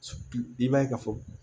I b'a ye ka fɔ